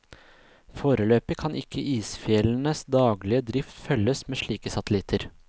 Foreløpig kan ikke isfjellenes daglige drift følges med slike satellitter.